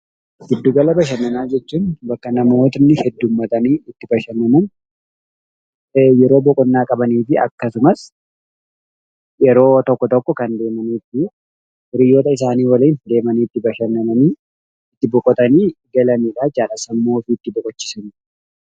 Gidduu gala bashannanaa jechuun bakka namoonni heddummatanii bashannanan yeroo boqonnaa qaban akkasumas yeroo tokko tokko kan deemanii fi hiriyoota isaanii waliin deemanii itti bashannanii boqotanii galanidha jechuudha.